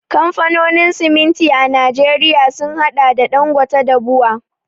Kamfanonin siminti a Najeriya sun haɗa da Ɗangote da BUA.